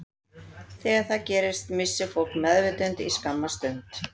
Þegar það gerist missir fólk meðvitund í skamma stund.